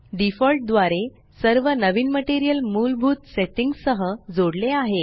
default द्वारे सर्व नवीन मटेरियल मूलभूत सेट्टिंग्स सह जोडले आहे